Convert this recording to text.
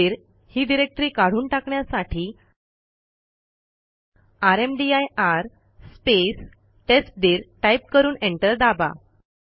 टेस्टदीर ही डिरेक्टरी काढून टाकण्यासाठी रामदीर स्पेस टेस्टदीर टाईप करून एंटर दाबा